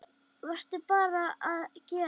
Verðum bara að gera það.